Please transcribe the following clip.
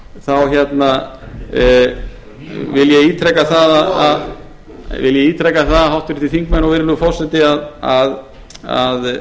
það er rétt virðulegur forseti þá vil ég ítreka það háttvirtir þingmenn og virðulegur forseti að það að